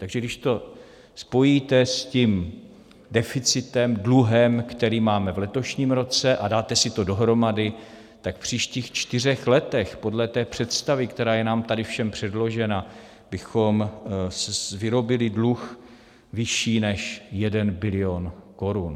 Takže když to spojíte s tím deficitem, dluhem, který máme v letošním roce, a dáte si to dohromady, tak v příštích čtyřech letech podle té představy, která je nám tady všem předložena, bychom vyrobili dluh vyšší než jeden bilion korun.